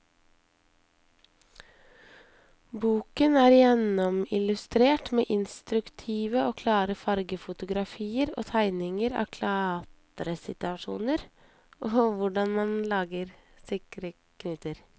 Boken er gjennomillustrert med instruktive og klare fargefotografier og tegninger av klatresituasjoner og hvordan man lager sikre knuter.